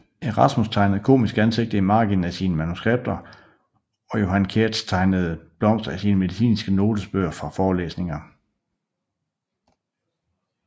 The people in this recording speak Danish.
Erasmus tegnede komiske ansigter i marginen af sine manuskripter og John Keats tegnede blomster i sine medicinske notesbøger fra forelæsninger